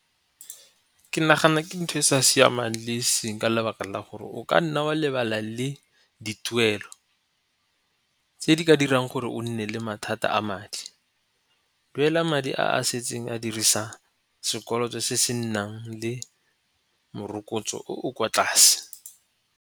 Ke nagana ke ntho e e sa siamang le e seng ka lebaka la gore o ka nna wa lebala le dituelo tse di ka dirang gore o nne le mathata a madi. Duela madi a a setseng a dirisa sekoloto se se nnang le morokotso o o kwa tlase.